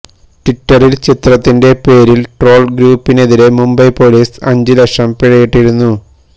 ട്വിറ്ററില് ചിത്രത്തിന്റെ പേരില് ട്രോള് ഗ്രൂപ്പിനെതിരെ മുംബൈ പോലീസ് അഞ്ചു ലക്ഷം പിഴയിട്ടിരുന്നു